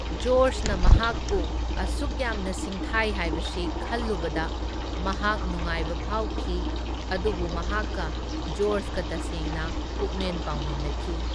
ꯖꯣꯔꯖꯅ ꯃꯍꯥꯛꯄꯨ ꯑꯁꯨꯛꯌꯥꯝꯅ ꯁꯤꯡꯊꯥꯢ ꯍꯥꯢꯕꯁꯤ ꯈꯜꯂꯨꯕꯗ ꯃꯍꯥꯛ ꯅꯨꯡꯉꯥꯢꯕ ꯐꯥꯎꯈꯤ, ꯑꯗꯨꯕꯨ ꯃꯍꯥꯛꯀ ꯖꯣꯔꯖꯀ ꯇꯁꯦꯡꯅ ꯄꯨꯛꯃꯦꯟ ꯄꯥꯎꯃꯤꯟꯅꯈꯤ꯫